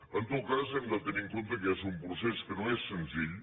en tot cas hem de tenir en compte que és un procés que no és senzill